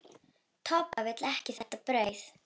Doppa vill ekki þetta brauð.